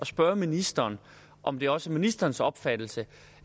spørge ministeren om det også er ministerens opfattelse